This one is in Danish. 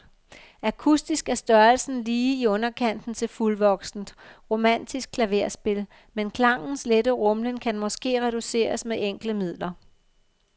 Akustisk er størrelsen lige i underkanten til fuldvoksent romantisk klaverspil, men klangens lette rumlen kan måske reduceres med enkle midler.